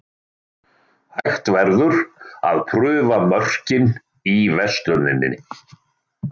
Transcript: Hægt verður að prufa mörkin í versluninni.